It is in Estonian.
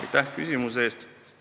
Aitäh küsimuse eest!